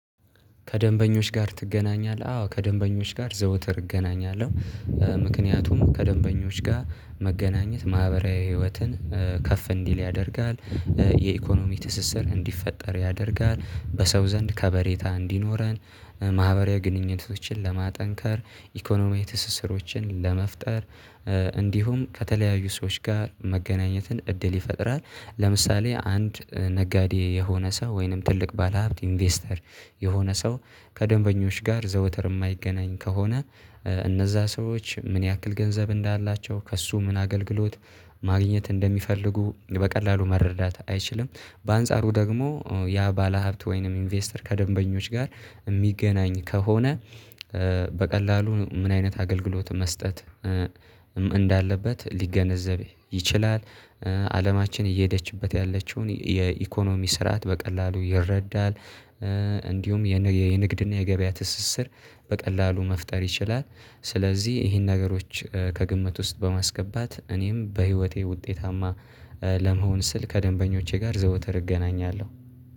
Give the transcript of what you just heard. ከደንበኞች ጋር ትገናኛለህ? አዎ ከደንበኞች ጋር ዘውትር እገናኛለሁ። ምክንያቱም ከደንበኞች ጋር መገናኘት ማህበራዊ ህይወትን ከፍ እንዲል ያደርጋል የኢኮኖሚ ትስስር እንዲፈጠር ያደርጋል በሰው ዘንድ ከበሬታ እንዲኖረን ማህበራዊ ግንኙነቶችን ለማጠንከር ኢኮኖሚያዊ ትስስሮችን ለመፍጠር እንዲሁም ከተለያዩ ሰዎች ጋር መገናኘትን እድል ይፈጥራል። ለምሳሌ አንድ ነጋዴ የሆነ ሰው ወይንም ትልቅ ባለሀብት ኢንቨስተር የሆነ ሰው ከደንበኞች ጋር ዘውትር የማይገናኝ ከሆነ እነዛ ሰዎች ምን ያክል ገንዘብ እንዳላቸው ከእሱ ምን አገልግሎት ማግኘት እንደሚፈልጉ በቀላሉ መረዳት አይችልም። በአንጻሩ ደግሞ ያ ባለሀብት ወይንም ኢንቨስተር ከደንበኞች ጋር የሚገናኝ ከሆነ በቀላሉ ምን አይነት አገልግሎት መስጠት እንዳለበት ሊገነዘብ ይችላል። አለማችን እየሄደችበት ያለችውን የኢኮኖሚ ስርዓት በቀላሉ ይረዳል። እንዲሁም የንግድና የገበያ ትስስር በቀላሉ መፍጠር ይችላል። ስለዚህ ይሄን ነገሮች ከግምት ውስጥ በማስገባት እኔም በህይወቴ ውጤታማ ለመሆን ስል ከደንበኞቼ ጋር ዘውትር እገናኛለሁ